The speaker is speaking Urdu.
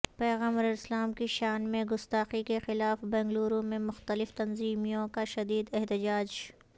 پیغمبر اسلام کی شان میں گستاخی کے خلاف بنگلورو میں مختلف تنظیموں کا شدید احتجاج